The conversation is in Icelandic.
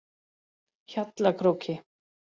Hjallakróki